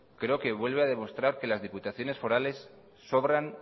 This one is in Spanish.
creo que vuelve a demostrar que las diputaciones forales sobran